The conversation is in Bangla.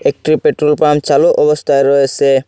একটি পেট্রোল পাম্প চালু অবস্থায় রয়েসে ।